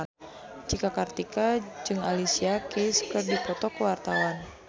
Cika Kartika jeung Alicia Keys keur dipoto ku wartawan